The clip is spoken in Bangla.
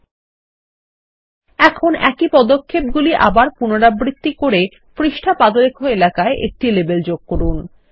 ল্টপাউসেগ্ট এখন একই পদক্ষেপগুলিআবার পুনরাবৃত্তি করেপৃষ্ঠা পাদলেখ এলাকায় একটি লেবেল যোগ করুন